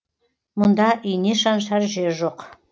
мұнда ине шаншар жер жоқ